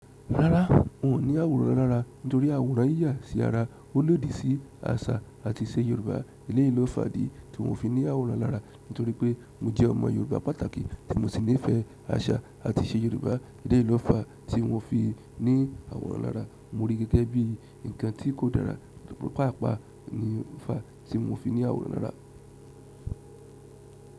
Rárá, n ò ní àwòrán lárá nítorí àwòrán yíyà sí ara, ó lòdì sí àṣà àti ìṣe Yorùbá. Eleyi lo fàdí tí mi o fi ní àwòrán lárá nítorí pé mo jẹ́ ọmọ Yorùbá pàtàkì tí mo sì nífẹ̀ẹ́ àṣà àti ìṣe Yorùbá. Eleyi lo fà tí mo fi ní àwòrán lárá mo rí gẹ́gẹ́ bí ǹkan tí kò dára. Púpọ̀ pàápàá ní fà tí mo fi ní àwòrán rárá.